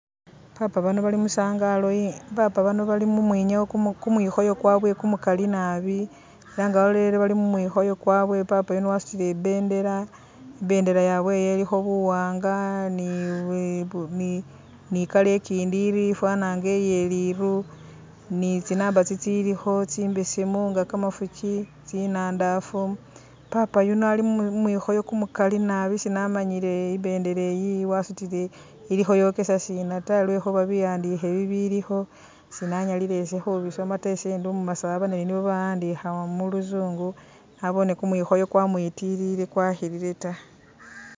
Papa bano bali musangalo ye papa bano mumwinyawo Ku kumwikhooyo kwabwe kumukaali naabi ela nga walolelele bali mumwikhooyo kwabwe papa yuno wasutile ibendela, ibendela yabwe yo ilikho buwaanga ni bi ni colour ikindi ifwana nga iye liiru ni tsi number tsitsiilikho tsimbeseemu nga kamafuuki tsinandaafu, papa yuno ali mumwikhooyo kumukaali naabi sinamanyile ibendela eyi wasutile kheyokesa sina ta lwekhuba biwandikhe bilikho sinanyalile ise khubisooma ta ise ndi umu masaba ne nibo bawandikha muluzungu, naboone kumwikhooyo kwamuyitilile kwakhilila ta